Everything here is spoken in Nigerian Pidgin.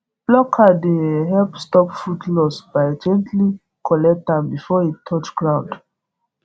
plucker dey um help stop fruit loss by gently collect am before e touch ground